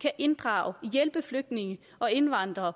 kan inddrage og hjælpe flygtninge og indvandrere